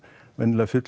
vanalega